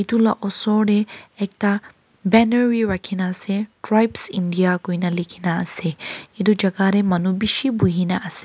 etu laga osor te ekta banner bhi rakhi kina ase tribes india koina likhe kina ase etu jagah te manu bisi bohe kina ase.